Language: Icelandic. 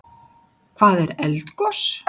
Hvað er eldgos?